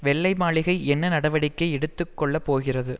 வெள்ளை மாளிகை என்ன நடவடிக்கை எடுத்து கொள்ள போகிறது